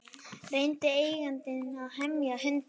Reyndi eigandinn að hemja hundinn